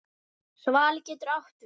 Svali getur átt við